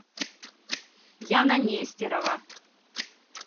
яна нестерова